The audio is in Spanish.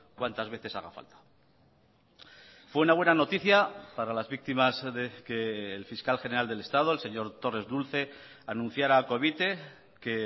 cuantas veces haga falta fue una buena noticia para las víctimas que el fiscal general del estado el señor torres dulce anunciara a covite que